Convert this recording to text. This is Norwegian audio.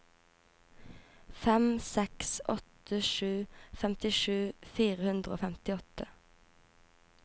fem seks åtte sju femtisju fire hundre og femtiåtte